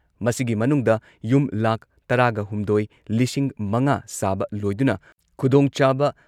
ꯃꯁꯤꯒꯤ ꯃꯅꯨꯡꯗ ꯌꯨꯝ ꯂꯥꯈ ꯇꯔꯥꯒꯍꯨꯝꯗꯣꯏ ꯂꯤꯁꯤꯡ ꯃꯉꯥ ꯁꯥꯕ ꯂꯣꯏꯗꯨꯅ ꯈꯨꯗꯣꯡꯆꯥꯕ